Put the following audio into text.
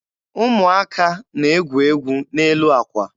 Ụmụaka na-egwu egwu n'elu àkwà.